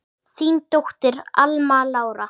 Þín dóttir, Alma Lára.